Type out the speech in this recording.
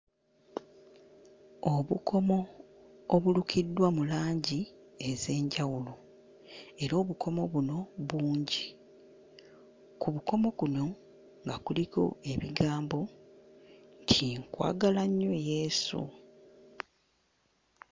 Obukomo obulukiddwa mu langi ez'enjawulo era obukomo buno bungi, ku bukomo kuno nga kuliko ebigambo nti nkwagala nnyo Yesu.